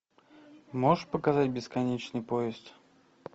можешь показать бесконечный поезд